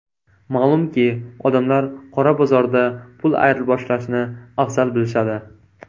Ma’lumki, odamlar qora bozorda pul ayirboshlashni afzal bilishadi.